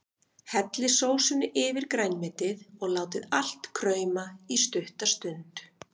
Hellið sósunni yfir grænmetið og látið allt krauma í stutta stund.